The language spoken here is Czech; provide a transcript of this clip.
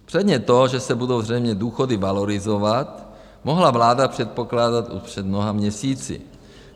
Předně to, že se budou zřejmě důchody valorizovat, mohla vláda předpokládat už před mnoha měsíci.